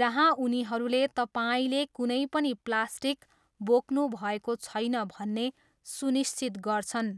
जहाँ उनीहरूले तपाईँले कुनै पनि प्लास्टिक बोक्नुभएको छैन भन्ने सुनिश्चित गर्छन्।